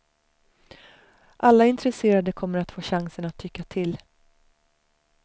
Alla intresserade kommer att få chansen att tycka till.